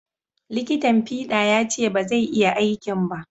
Liƙitan fiɗa ya ce ba zai iya aikin ba